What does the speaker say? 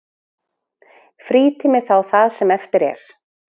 Frítími þá það sem eftir er?